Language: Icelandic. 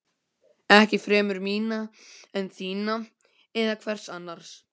Ekki fremur mína en þína eða hvers annars.